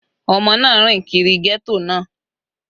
Ọmọ náà rìn kiri ghetto náà.